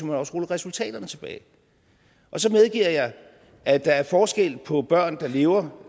man også rulle resultaterne tilbage så medgiver jeg at der er forskel på børn der lever